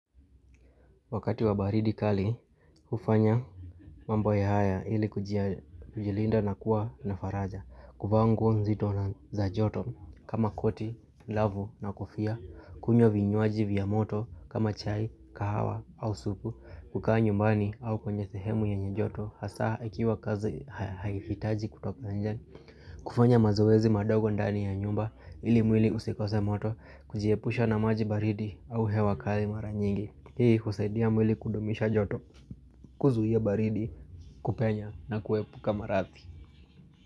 Wakati wa baridi kali, hufanya mambo haya ili kujilinda na kuwa na faraja. Kuvaa nguo nzito na za joto kama koti, glavu na kofia, kunywa vinywaji vya moto kama chai, kahawa au supu, kukaa nyumbani au kwenye sehemu yenye joto, hasa ikiwa kazi haihitaji kutoka nje. Kufanya mazoezi madogo ndani ya nyumba ili mwili usikose moto, kujiepusha na maji baridi au hewa kali mara nyingi. Hii husaidia mwili kudumisha joto kuzuia baridi kupenya na kuepuka maradhi.